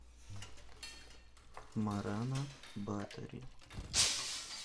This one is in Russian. морана батори